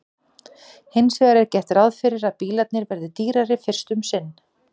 hins vegar er gert ráð fyrir að bílarnir verði dýrari fyrst um sinn